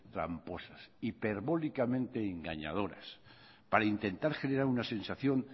tramposas hiperbólicamente engañadoras para intentar generar una sensación